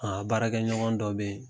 A baarakɛɲɔgɔn dɔ bɛ yen